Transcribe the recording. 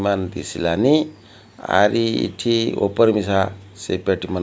ମାନ ଦିଶିଲାନି ଆରି ଇଠି ଓପର ମିଶା ସେ ବେଟିମାନ୍ ।